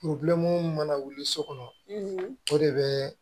mun mana wuli so kɔnɔ o de bɛ